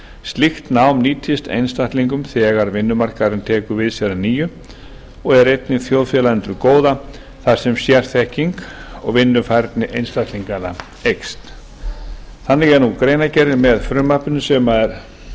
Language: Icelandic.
slíkt nám nýtist einstaklingum þegar vinnumarkaður tekur við sér að nýju og er einnig þjóðfélaginu til góða þar sem sérþekking og vinnufærni einstaklinga eykst þannig er nú greinargerðin með frumvarpinu sem er